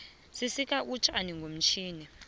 sisika utjani ngomtjhini